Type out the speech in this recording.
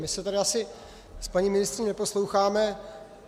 My se tady asi s paní ministryní neposloucháme.